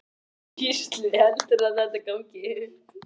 Gísli: Heldurðu að þetta gangi upp?